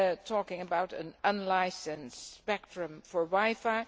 talking about an unlicensed spectrum for wi fi.